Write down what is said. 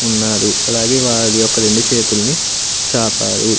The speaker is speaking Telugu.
ఉన్నారు అలాగే వారి యొక్క రెండు చేతులను జాపారు.